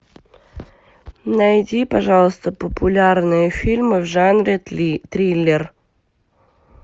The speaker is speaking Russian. найди пожалуйста популярные фильмы в жанре триллер